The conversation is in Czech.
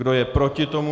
Kdo je proti tomu?